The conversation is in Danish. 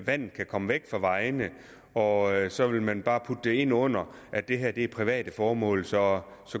vandet kan komme væk fra vejene og så vil man bare putte det ind under at det her er private formål for så